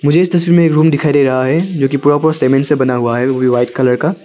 मुझे इस तस्वीर में एक रूम दिखाई दे रहा है जो कि पूरा का पूरा सीमेंट से बना हुआ है वो भी वाइट कलर का--